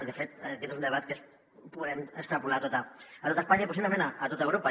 i de fet aquest és un debat que podem extrapolar a tot espanya i possiblement a tot europa